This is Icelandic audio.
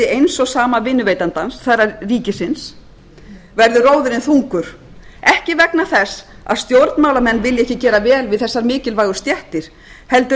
eins og sama vinnuveitandans það er ríkisins verður róðurinn þungur ekki vegna þess að stjórnmálamenn vilji ekki gera vel við þessar mikilvægu stéttir heldur